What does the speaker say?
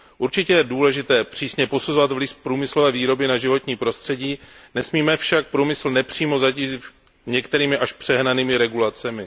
Určitě je důležité přísně posuzovat vliv průmyslové výroby na životní prostředí, nesmíme však průmysl nepřímo zatížit některými až přehnanými regulacemi.